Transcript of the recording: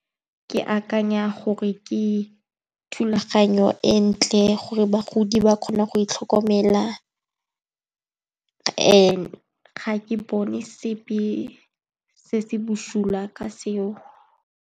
Ke akanya gore ke thulaganyo e ntle gore bagodi ba kgona go itlhokomela and ga ke bone sepe se se bosula ka seo.